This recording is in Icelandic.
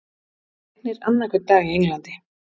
Það rignir annan hvern dag í Englandi.